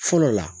Fɔlɔ la